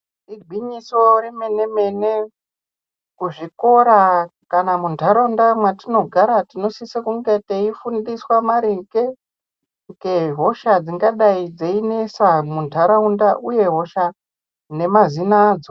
Igwinyiso remene mene kuzvikora kana munharaunda mwatigara tinosise kunge teifundiswa maringe ngehosha dzingadayi dzeinesa munharaunda uye hosha nemazina adzo.